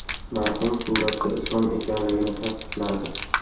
Marhum suratda Islom ekanligini tasdiqladi.